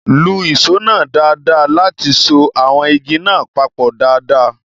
Lu ìṣó náà dáadáa láti so àwọn igi náà papọ̀ dáadáa